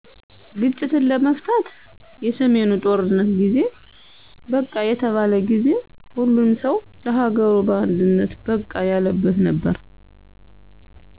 ግጭትን ለመፍታት የሰሜኑ ጦርነት ጊዜ #በቃ የተባለ ጊዜ። ሁሉም ሠው ለሀገሩ በአንድነት #በቃ ያለበት ነበር